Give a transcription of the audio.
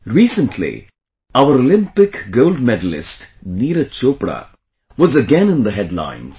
Recently, our Olympic gold medalist Neeraj Chopra was again in the headlines